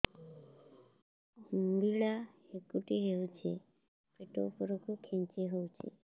ଅମ୍ବିଳା ହେକୁଟୀ ହେଉଛି ପେଟ ଉପରକୁ ଖେଞ୍ଚି ହଉଚି